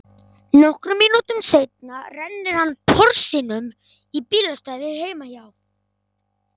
Nokkrum mínútum seinna rennir hann Porsinum í bílastæðið heima hjá